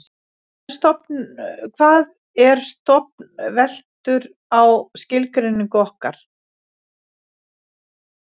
hvað er stofn veltur á skilgreiningu okkar